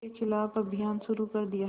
के ख़िलाफ़ अभियान शुरू कर दिया